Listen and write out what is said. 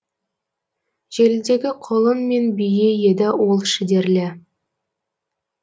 желідегі құлын мен бие еді ол шідерлі